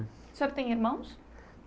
O senhor tem irmãos?